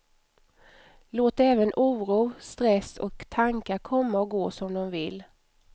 Låt även oro, stress och tankar komma och gå som de vill.